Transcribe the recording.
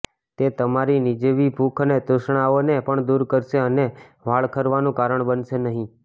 તે તમારી નજીવી ભૂખ અને તૃષ્ણાઓને પણ દૂર કરશે અને વાળ ખરવાનું કારણ બનશે નહીં